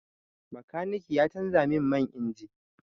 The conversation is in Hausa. Makaniki ya canza min man injin.